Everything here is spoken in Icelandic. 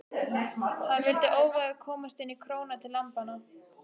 Hann vildi óvægur komast inn í króna til lambanna.